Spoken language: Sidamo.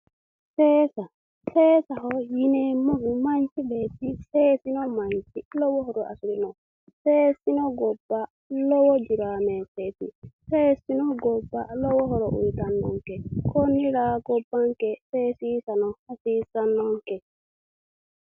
Seesesa yineemmohu manchu beetti seesino manchi lowo horo afirino, seesino gobba lowo dureemataweti ,seesino gobba lowo horo uyittanonke konira gobbanke seesissano hasiisanonke